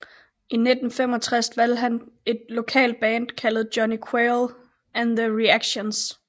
I 1965 valgte han et lokalt band kaldet Johnny Quale and the Reactions